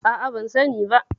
A'a, ban sani ba.